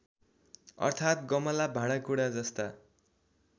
अर्थात् गमला भाँडाकुडाजस्ता